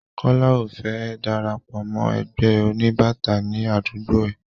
Kọ́lá ò fẹ́ darapọ̀ mọ́ ẹgbẹ́ oníbàtà ní àdúgbó ẹ.